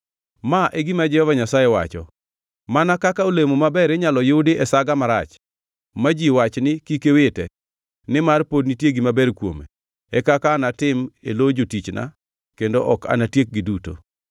Ma e gima Jehova Nyasaye wacho: “Mana kaka olemo maber inyalo yudi e saga marach, ma ji wach ni, ‘Kik wite, nimar pod nitie gima ber kuome, e kaka anatim e lo jotichna kendo ok anatiekgi duto.’